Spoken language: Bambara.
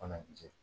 Fana jɛ